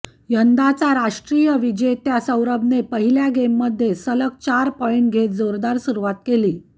यंदाचा राष्ट्रीय विजेत्या सौरभने पहिल्या गेममध्ये सलग चार पॉइंट घेत जोरदार सुरुवात केली